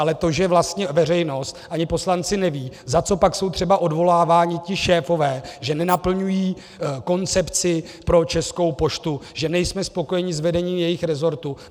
Ale to, že vlastně veřejnost ani poslanci nevědí, za co pak jsou třeba odvoláváni ti šéfové, že nenaplňují koncepci pro Českou poštu, že nejsme spokojeni s vedením jejich rezortu.